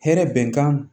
Hɛrɛ bɛnkan